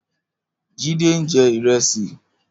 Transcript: Jide n jè irèsí